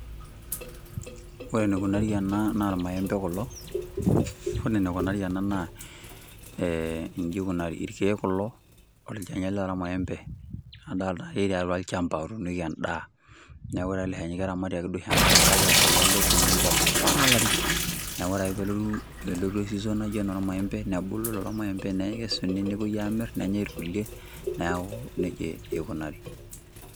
Ore enikunari ena naa irmaembe kulo, ore enikunari ena eeh ji kunari irkeek kulo olchani ele loormaembe adolita etii atua olchamba ounieki edaa neaku ore ele shani keramati duoke aisho enkare kake olchani ele lotunoki apa toolarin, neaku ore ake pee elotu season naji enoormaembe nebulu lelo maembe neeku kekesuni nepuoi aamir nenyae irkulie neaku nejia ikunari.